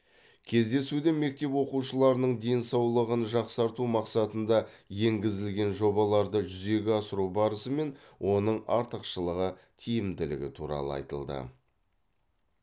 кездесуде мектеп оқушыларының денсаулығын жақсарту мақсатында енгізілген жобаларды жүзеге асыру барысы мен оның артықшылығы тиімділігі туралы айтылды